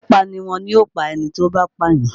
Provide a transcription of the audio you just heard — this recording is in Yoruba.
Pípa niwọn yóò pa ẹni tó bá pàyàn.